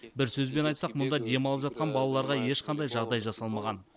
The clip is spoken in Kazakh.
бір сөзбен айтсақ мұнда демалып жатқан балаларға ешқандай жағдай жасалмаған